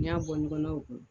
N'i y'a bɔ nɔgɔnna o kɔnɔ